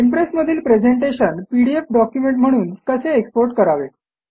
impress मधील presentation PDF document म्हणून कसे एक्सपोर्ट करावे